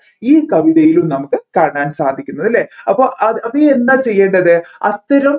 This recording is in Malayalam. ഈ കവിതയിലേയും നമ്മുക്ക് കാണാൻ സാധിക്കുന്നത് അല്ലെ അപ്പോ അത് എന്താണ് ചെയ്യേണ്ടത് അത്തരം